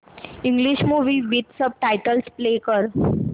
English movie with subtitles play कर